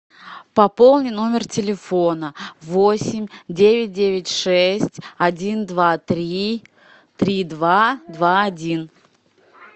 пополни номер телефона восемь девять девять шесть один два три три два два один